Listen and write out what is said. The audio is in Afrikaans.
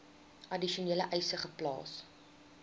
addisionele eise geplaas